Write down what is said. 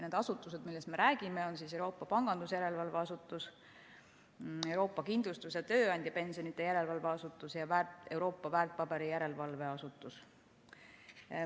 Need asutused, millest me räägime, on Euroopa Pangandusjärelevalve Asutus, Euroopa Kindlustus‑ ja Tööandjapensionide Järelevalve Asutus ja Euroopa Väärtpaberiturujärelevalve Asutus.